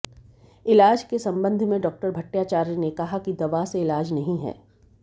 इलाज के संबंध में डॉ भट्टाचार्य ने कहा कि दवा से इलाज नहीं है